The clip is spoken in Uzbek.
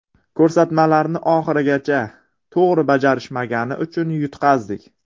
Ko‘rsatmalarni oxirigacha to‘g‘ri bajarishmagani uchun yutqazdik.